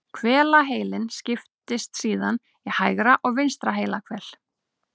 Hvelaheilinn skiptist síðan í hægra og vinstra heilahvel.